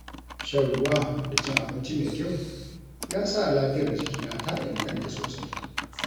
Shan ruwa da cin abinci mai kyau ya sa lafiyar jikina ta inganta sosai.